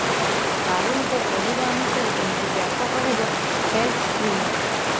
ପାରୁଲଙ୍କ କହିବା ଅନୁସାରେ ଏଣିକି ବ୍ୟାପକ ହେବ ହେଲ୍ଥ ସ୍କ୍ରିନିଂ